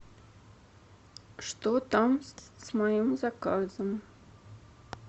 что там с моим заказом